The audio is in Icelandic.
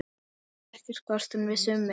Ég vissi ekkert hvort hún vissi um mig.